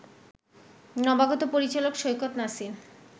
নবাগত পরিচালক সৈকত নাসির